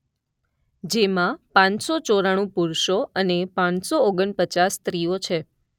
જેમાં પાંચસો ચોરાણું પુરુષો અને પાંચસો ઓગણ પચાસ સ્ત્રીઓ છે.